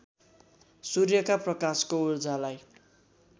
सूर्यका प्रकाशको ऊर्जालाई